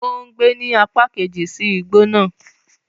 O ngbe ni apa keji si igbo naa